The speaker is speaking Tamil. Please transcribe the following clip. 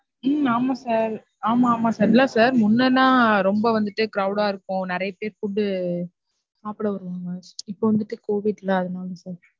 உம் ஆமா sir ஆமா, ஆமா sir இல்ல sir முன்னனா ரொம்ப வந்துட்டு crowd ஆ இருக்கும், நிறையா பேர் food சாப்பிட வருவாங்க. இப்ப வந்துட்டு COVID ல அதுனால sir.